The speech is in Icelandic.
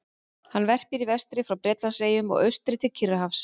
Hann verpir í vestri frá Bretlandseyjum og austur til Kyrrahafs.